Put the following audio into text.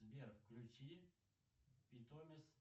сбер включи питомис